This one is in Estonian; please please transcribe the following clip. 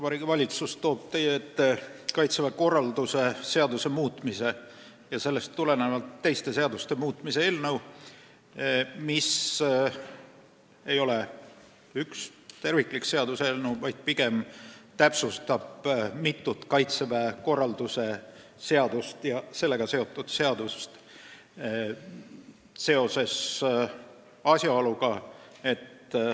Vabariigi Valitsus toob teie ette Kaitseväe korralduse seaduse muutmise ja sellest tulenevalt teiste seaduste muutmise seaduse eelnõu, mis ei ole üks terviklik seaduseelnõu, vaid pigem täpsustab mitut Kaitseväe korraldusega seotud seadust.